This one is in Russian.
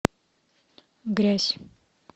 грязь